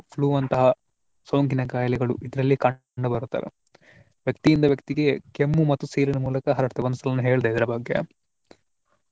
Flue ಅಂತಹ ಸೋಂಕಿನ ಕಾಯಿಲೆಗಳು ಇದರಲ್ಲಿ ಕಂಡು ಬರುತ್ತದೆ. ವ್ಯಕ್ತಿಯಿಂದ ವ್ಯಕ್ತಿಗೆ ಕೆಮ್ಮು ಮತ್ತು ಸೀನಿನ ಮೂಲಕ ಹರಡುತ್ತದೆ ಒಂದ್ಸಲ ಹೇಳ್ದೆ ಇದರ ಬಗ್ಗೆ.